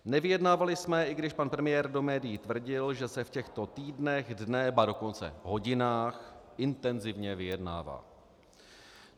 Nevyjednávali jsme, i když pan premiér do médií tvrdil, že se v těchto týdnech, dnech, ba dokonce hodinách intenzivně vyjednává.